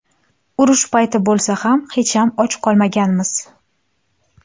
Urush payti bo‘lsa ham hecham och qolmaganmiz.